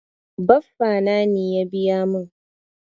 Baffa na ne ya biya mun.